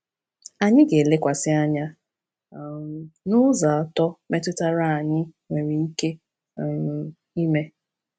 Anyị ga-elekwasị anya um n’ụzọ atọ metụtara ya anyị nwere ike um ime.